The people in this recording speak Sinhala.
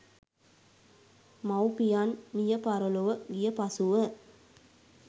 මව්පියන් මියපරලොව ගිය පසුව